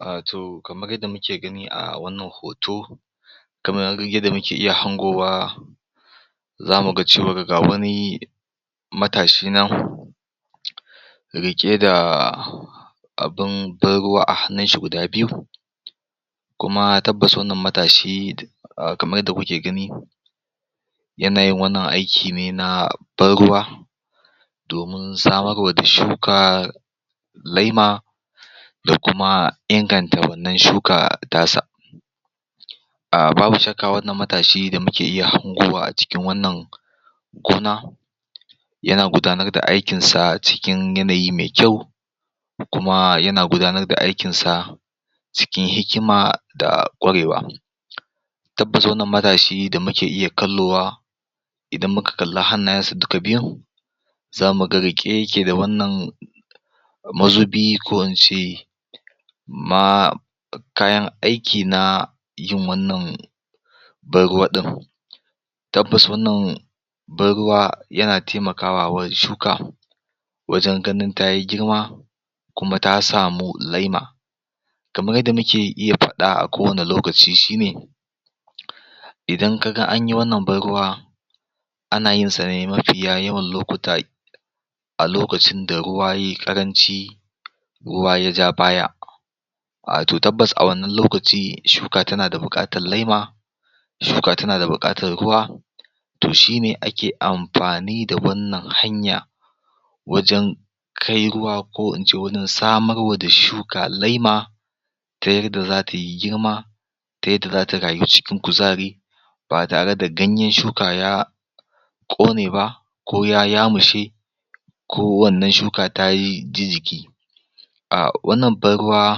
um to kamar yanda muke gani a wannan hoto kamar yadda muke iya hangowa zamu ga cewar ga wani matashi nan riƙe da abun ban ruwa a hannun shi guda biyu kuma tabbas wannan matashi um kamar yadda kuke gani yana yin wannan aiki ne na ban ruwa domin samarwa da shuka laima da kuma inganta wannan shuka ta sa um babu shakka wannan matashi da muke iya hangowa a cikin wannan gona yana gudanar da aikin sa cikin yanayi me kyau kuma yana gudanar da aikin sa cikin hikima da ƙwarewa tabbas wannan matashi da muke iya kallowa idan muka kalla hannayen sa duka biyun zamu ga riƙe yake da wannan mazubi ko in ce ma kayan aiki na yin wannan ban ruwa ɗin tabbas wannan ban ruwa yana temakawa wa shuka wajen ganin tayi girma kuma ta samu laima kamar yadda muke iya faɗa a kowane lokaci shine idan kaga an yi wannan ban ruwa ana yin sa ne mafiya yawan lokuta a lokacin da ruwa yayi ƙaranci ruwa ya ja baya wato tabbas a wannan lokaci shuka tana da buƙatar laima shuka tana da buƙatar ruwa to shine ake amfani da wannan hanya wajen kai ruwa ko ince wajen samarwa da shuka laima ta yarda zata yi girma tayadda zata rayu cikin kuzari ba tare da ganyen shuka ya ƙone ba ko ya yamushe ko wannan shuka ta ji jiki um wannan ban ruwa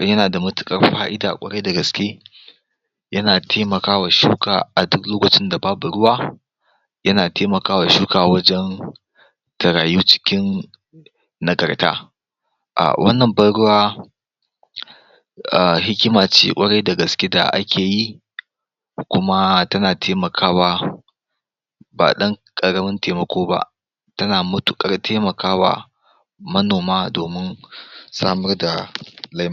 yana da matuƙar fa'ida ƙwarai da gaske yana temakawa shuka a duk lokacin da babu ruwa yana temakawa shuka wajan ta rayu cikin nagarta wannan ban ruwa hikima ce ƙwarai da gaske da ake yi kuma tana temakawa ba ɗan ƙaramin temako ba tana matuƙar temakawa manoma domin samar da laima